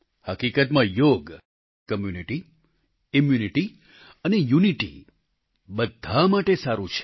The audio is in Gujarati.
હકીકતમાં યોગ કમ્યુનિટી ઈમ્યુનિટી અને યુનિટી બધા માટે સારું છે